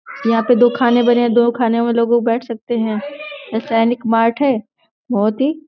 यहाँ पे दो खाने बने है। दो खाने में लोग बैठ सकते हैं। बोहोत ही --